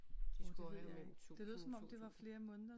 De spøger jo mellem 1000 og 2000